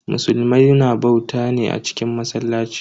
Musulmai na bauta ne a cikin masallaci.